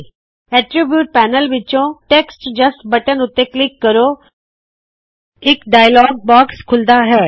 attributes panel ਵਿੱਚੋ text just button ਉੱਤੇ click ਕਰੋ ਇੱਕ ਡਾਇਲਔਗ ਬਾਕਸ ਖੁੱਲੇ ਗਾ